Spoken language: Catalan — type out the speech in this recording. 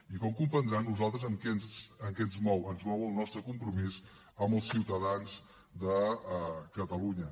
i com comprendrà a nosaltres què ens mou ens mou el nostre compromís amb els ciutadans de catalunya